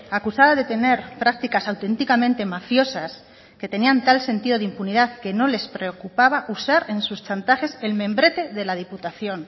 acusada de tener prácticas auténticamente mafiosas que tenían tal sentido de impunidad que no les preocupaba usar en sus chantajes el membrete de la diputación